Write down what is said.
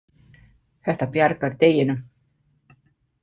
Þetta bjargar deginum.